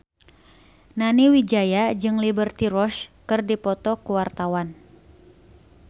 Nani Wijaya jeung Liberty Ross keur dipoto ku wartawan